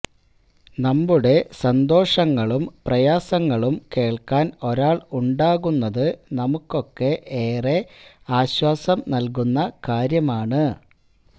നമ്മുടെ സന്തോഷങ്ങളും പ്രയാസങ്ങളും കേള്ക്കാന് ഒരാള് ഉണ്ടാകുന്നത് നമുക്കൊക്കെ ഏറെ ആശ്വാസം നല്കുന്ന കാര്യമാണ്